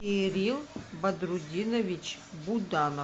кирилл бадрудинович буданов